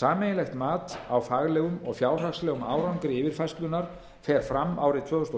sameiginlegt mat á faglegum og fjárhagslegum árangri yfirfærslunnar fer fram árið tvö þúsund og